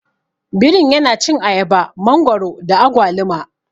Birin yana cin ayaba, mangwaro da agwaluma.